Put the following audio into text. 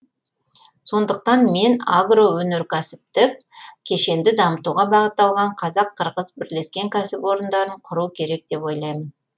сондықтан мен агроөнеркәсіптік кешенді дамытуға бағытталған қазақ қырғыз бірлескен кәсіпорындарын құру керек деп ойлаймын